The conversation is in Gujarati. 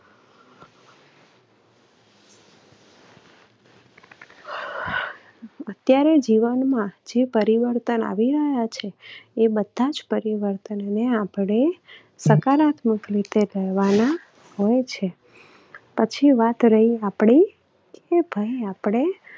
અત્યારે જીવનમાં જે પરિવર્તન આવી રહ્યા છે એ બધા જ પરીવર્તનોને આપણે સકારાત્મક રીતે લેવાના હોય છે. પછી વાત રહી આપણી એ પણ આપણે